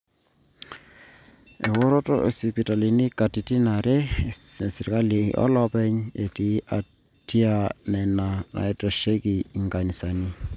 eworoto oosipitalini katitin are, inesirkali onooloopeny etii atia nena naaitasheiki inkanisani